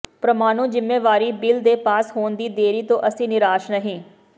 ਪ੍ਰਮਾਣੂ ਜ਼ਿੰਮੇਵਾਰੀ ਬਿੱਲ ਦੇ ਪਾਸ ਹੋਣ ਦੀ ਦੇਰੀ ਤੋਂ ਅਸੀਂ ਨਿਰਾਸ਼ ਨਹੀਂ